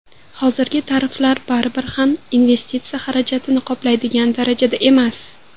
Hozirgi tariflar baribir ham investitsiya xarajatlarini qoplaydigan darajada emas.